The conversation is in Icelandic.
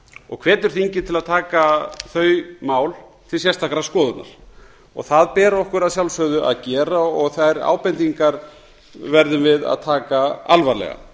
og hvetur þingið til að taka þau mál til sérstakrar skoðunar það ber okkur að sjálfsögðu að gera og þær ábendingar verðum við að taka alvarlega